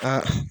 Aa